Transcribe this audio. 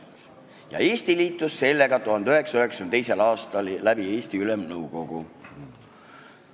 Ja Eesti liitus sellega 1992. aastal, tookord Eesti Ülemnõukogu eestvõttel.